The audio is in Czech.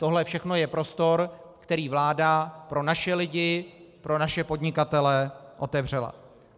Tohle všechno je prostor, který vláda pro naše lidi, pro naše podnikatele otevřela.